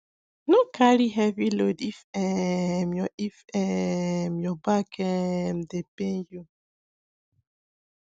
no carry heavy load if um your if um your back um dey pain you